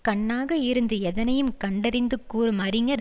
கண்ணாக இருந்து எதனையும் கண்டறிந்து கூறும் அறிஞர்